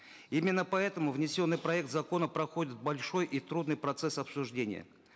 именно поэтому внесенный проект закона проходит большой и трудный процесс обсуждения